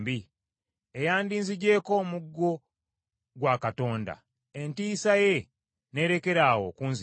eyandizigyeko omuggo gwa Katonda entiisa ye n’erekeraawo okunzijira.